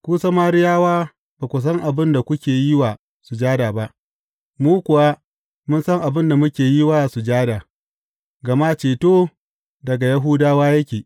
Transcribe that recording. Ku Samariyawa ba ku san abin da kuke yi wa sujada ba; mu kuwa mun san abin da muke yi wa sujada, gama ceto daga Yahudawa yake.